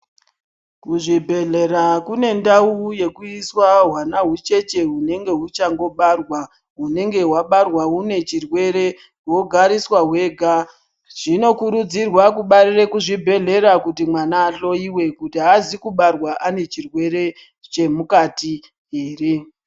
Kuzvibhedhelera kunendau yekuiswa hwana hucheche hunenge huchangobarwa hunenge hwabarwa hunechirwere hwogariswa hwega. Zvinokurudzirwa kubarire kuzvibhedhlera kuti mwana ahloyiwe kuti hazi kubarwa anechirwere chemukati here.